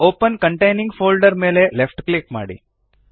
open containing folder ಮೇಲೆ left click ಮಾಡಿ